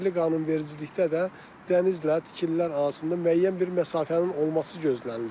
Yerli qanunvericilikdə də dənizlə tikililər arasında müəyyən bir məsafənin olması gözlənilir.